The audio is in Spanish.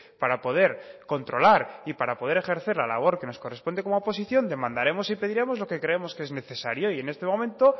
para poder controlar y para poder ejercer la labor que nos corresponde como oposición demandaremos y pediremos lo que creemos que es necesario y en este momento